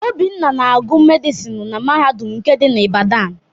Obinna na-agụ medịsinu na mahadum nke dị na Ibadan.